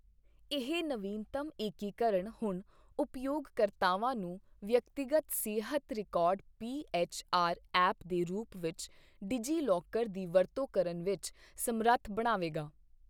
ਇਹ ਨਵੀਨਤਮ ਏਕੀਕਰਨ ਹੁਣ ਉਪਯੋਗਕਰਤਾਵਾਂ ਨੂੰ ਵਿਅਕਤੀਗਤ ਸਿਹਤ record P H R app ਦੇ ਰੂਪ ਵਿੱਚ ਡਿਜੀਲੌਕਰ ਦੀ ਵਰਤੋਂ ਕਰਨ ਵਿੱਚ ਸਮਰੱਥ ਬਣਾਵੇਗਾ।